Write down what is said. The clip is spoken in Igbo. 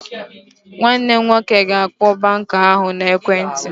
Nwanne m nwoke ga-akpọ banka ahụ n'ekwentị